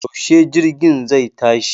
Yaushe jirgin zai tashi